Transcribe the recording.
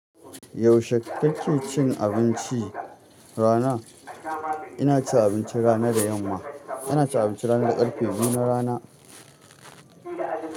Yaushe ku ke cin abincin rana? Ina cin abinci rana da yamma. Ana cin abincin rana da ƙarfe biyu na rana.